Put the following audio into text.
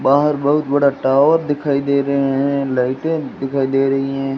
बाहर बहुत बड़ा टावर दिखाई दे रहे हैं लाइटे दिखाई दे रही है।